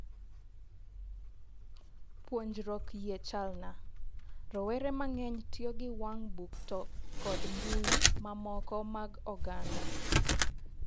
Puonjruok yie chalna' "rowere mang'eny tiyo gi wang' buk to kod mbuyi ma moko mag oganda.